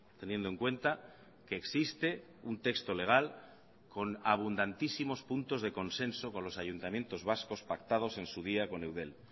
teniendo en cuenta que existe un texto legal con abundantísimos puntos de consenso con los ayuntamientos vascos pactados en su día con eudel